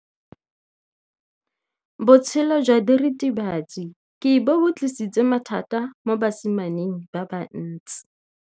Botshelo jwa diritibatsi ke bo tlisitse mathata mo basimaneng ba bantsi.